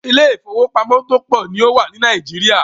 Ilé ìfọwọ́pamo tó pọ̀ ní o wà ní Nàìjíríà.